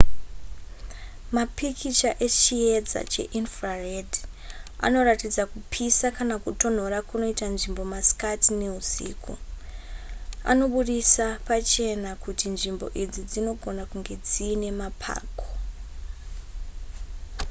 mapikicha echiedza cheinfrared anoratidza kupisa kana kutonhora kunoita nzvimbo masikati neusiku anobudisa pachena kuti nzvimbo idzi dzinogona kunge dziine mapako